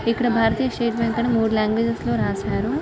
ఇక్కడ భారతీయ state bank అని మూడు లాంగ్వేజ్స్ లో రాసారు.